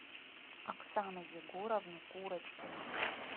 оксану егоровну курочкину